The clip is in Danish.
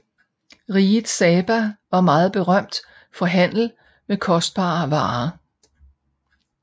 Riget Saba var meget berømt for handel med kostbare varer